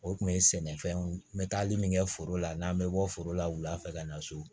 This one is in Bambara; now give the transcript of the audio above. O tun ye sɛnɛfɛnw ye n bɛ taali min kɛ foro la n'an bɛ bɔ foro la wulafɛ ka na so